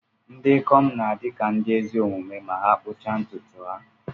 Ndị ikom na-adi ka ndi ezi omume ma ha kpuda ntùtù ha.